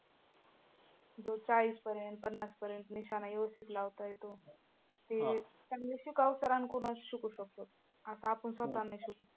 जो चाळीसपर्यंत पन्नासपर्यंत निशाणा व्यवस्थित लावता येतो ते चांगल्या शिकाऊ sur कडूनच शिकू शकतो, असं आपण स्वतः नाही शिकत.